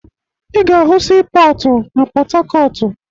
Ị ga-ahụ siipọọtụ na Pọtakọọtụ